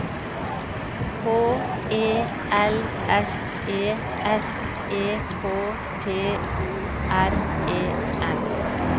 H E L S E S E K T O R E N